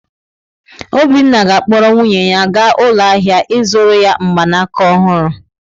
Obinna ga-akpọrọ nwunye ya gaa ụlọ ahịa ịzụrụ ya mgbanaka ọhụrụ.